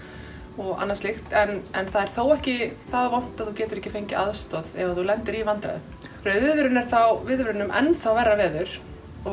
og annað slíkt en en það er þó ekki það vont að þú getir ekki fengið aðstoð ef þú lendir í vandræðum rauð viðvörun er viðvörun um enn þá verra veður